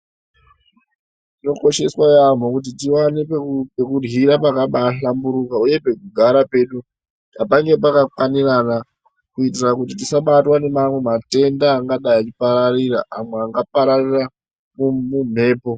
Zvinokosheswa yaambo kuti tiwane pekuryira pakabaahlamburuka uye pekugara pedu ngapange pakakwanirana kutira tisabatwa nematenda amweni angapararira amwe angange eipararira mumhepo.